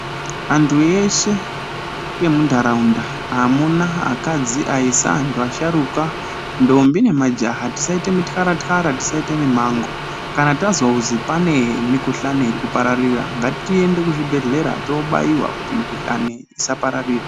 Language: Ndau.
Anthu eshe emuntharaunda amuna akadzi anthu asharuka aisa ndombi nemajaha tisaite mitkara tkara tisaita mimango kana tazwa kuzi pane mikuhlani iri kupararira ngatiende kuchibhedhlera toobayowa kuti mikuhlani isapararira.